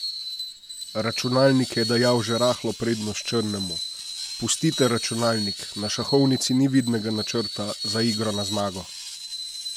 Računalnik je dajal že rahlo prednost črnemu: "Pustite računalnik, na šahovnici ni vidnega načrta za igro na zmago.